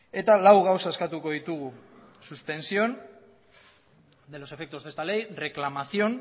eta lau gauza eskatuko ditugu suspensión de los efectos de esta ley reclamación